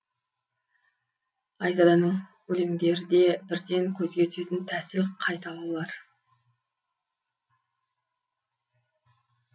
айзаданың өлеңдерде бірден көзге түсетін тәсіл қайталаулар